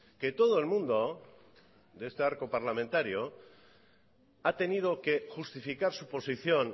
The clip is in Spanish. que todo el mundo de este arco parlamentario ha tenido que justificar su posición